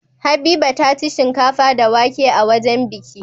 Habiba taci shinkafa da wake a wajan biki